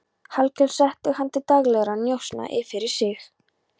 Hallkel setti hann til daglegra njósna fyrir sig.